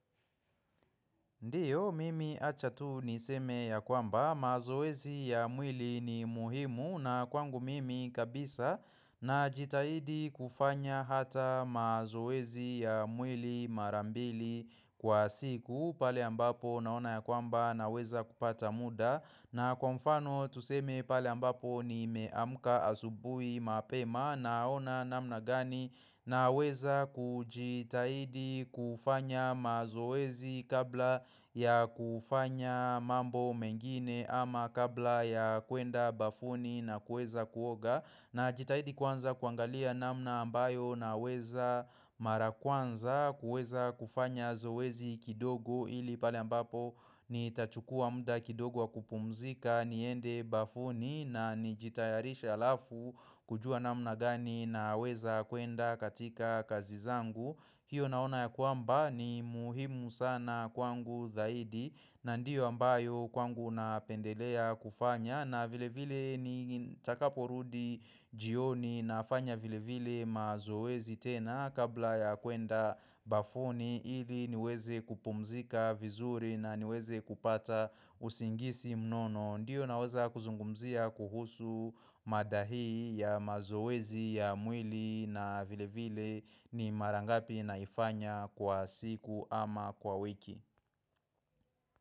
Ndiyo mimi acha tu niseme ya kwamba mazoezi ya mwili ni muhimu na kwangu mimi kabisa najitahidi kufanya hata mazoezi ya mwili mara mbili kwa siku pale ambapo naona ya kwamba naweza kupata muda na kwa mfano tuseme pale ambapo ni nimeamka asubuhi mapema naona namna gani naweza kujitahidi kufanya mazoezi kabla ya kufanya mambo mengine ama kabla ya kuenda bafuni na kuweza kuoga Najitahidi kwanza kuangalia namna ambayo naweza mara kwanza kuweza kufanya zoezi kidogo ili pale ambapo nitachukua muda kidogo wa kupumzika niende bafuni na nijitayarishe alafu kujua namna gani naweza kuenda katika kazi zangu. Hiyo naona ya kwamba ni muhimu sana kwangu zaidi na ndiyo ambayo kwangu napendelea kufanya na vile vile nitakaporudi jioni nafanya vile vile mazoezi tena kabla ya kwenda bafuni ili niweze kupumzika vizuri na niweze kupata usingizi mnono. Ndiyo naweza kuzungumzia kuhusu mada hii ya mazoezi ya mwili na vile vile ni mara ngapi naifanya kwa siku ama kwa wiki.